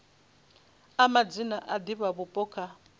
a madzina a divhavhupo kha